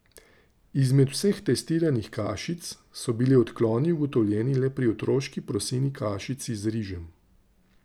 Izmed vseh testiranih kašic so bili odkloni ugotovljeni le pri otroški proseni kašici z rižem.